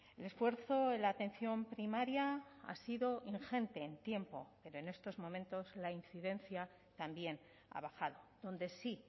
el esfuerzo en la atención primaria ha sido ingente en tiempo pero en estos momentos la incidencia también ha bajado donde sí